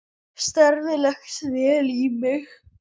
Starfið leggst vel í mig.